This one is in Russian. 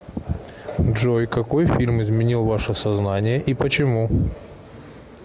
джой какой фильм изменил ваше сознание и почему